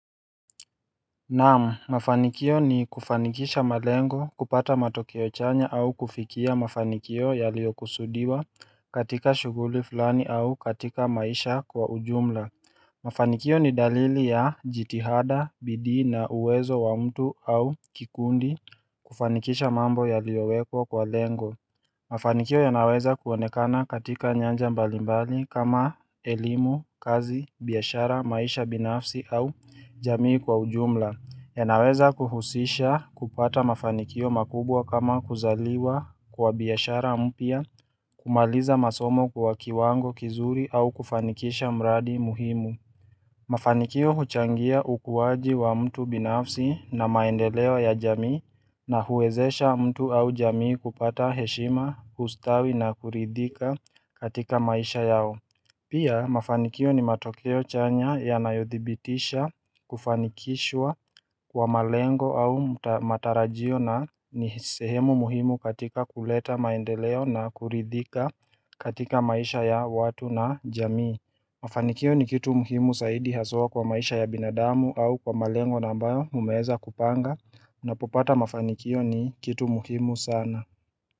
Naam mafanikio ni kufanikisha malengo kupata matokeo chanya au kufikia mafanikio yaliyo kusudiwa katika shughuli fulani au katika maisha kwa ujumla. Mafanikio ni dalili ya jitihada, bidi na uwezo wa mtu au kikundi kufanikisha mambo yaliyowekwa kwa lengo. Mafanikio yanaweza kuonekana katika nyanja mbalimbali kama elimu, kazi, biashara, maisha binafsi au jamii kwa ujumla. Yanaweza kuhusisha kupata mafanikio makubwa kama kuzaliwa kwa biashara mpya, kumaliza masomo kwa kiwango kizuri au kufanikisha mradi muhimu. Mafanikio huchangia ukuaji wa mtu binafsi na maendeleo ya jamii na huwezesha mtu au jamii kupata heshima, kustawi na kuridhika katika maisha yao. Pia mafanikio ni matokeo chanya ya nayothibitisha kufanikishwa kwa malengo au matarajio na ni sehemu muhimu katika kuleta maendeleo na kuridhika katika maisha ya watu na jamii Mafanikio ni kitu muhimu zaidi haswa kwa maisha ya binadamu au kwa malengo na ambayo mmeweza kupanga Unapopata mafanikio ni kitu muhimu sana.